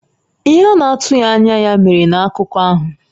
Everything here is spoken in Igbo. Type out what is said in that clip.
Ihe a na-atụghị anya ya mere na akụkọ ahụ.